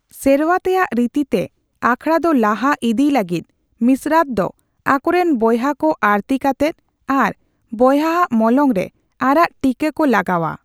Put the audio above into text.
ᱥᱮᱨᱣᱟᱛᱮᱭᱟᱜ ᱨᱤᱛᱤᱛᱮ ᱟᱠᱷᱲᱟ ᱫᱚ ᱞᱟᱦᱟ ᱤᱫᱤᱭ ᱞᱟᱹᱜᱤᱫ, ᱢᱤᱥᱨᱟᱛ ᱫᱚ ᱟᱠᱚᱨᱮᱱ ᱵᱚᱭᱦᱟ ᱠᱚ ᱟᱹᱨᱛᱤ ᱠᱟᱛᱮ ᱟᱨ ᱵᱚᱭᱦᱟᱣᱟᱜ ᱢᱚᱞᱚᱝ ᱨᱮ ᱟᱨᱟᱜ ᱴᱷᱤᱠᱟᱹᱜ ᱠᱚ ᱞᱟᱜᱟᱣᱼᱟ ᱾